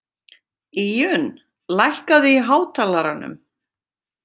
Íunn, lækkaðu í hátalaranum.